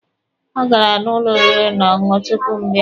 Ọ gara n'ụlọ oriri na ọṅụṅụ tupu m bịa.